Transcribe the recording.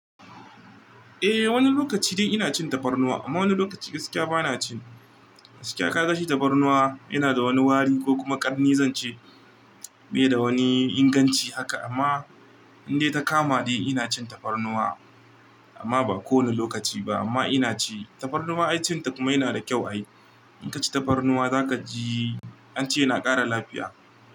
Eh wani lokaci dai ina cin tafarnuwa amma wani lokaci gaskiya ba na cin. Gaskiya ka ga shi tafarnuwa yana da wani wari ko kuma ƙarni zan ce bai da wani inganci haka amma in dai ta kama dai ina cin tafarnuwa amma ba kowani lokaci ba amma ina ci. Tafarnuwa ai cin ta kuma yana da kyau ai. In ka ci tafarnuwa za ka ji an ce na ƙara lafiya.